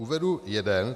Uvedu jeden.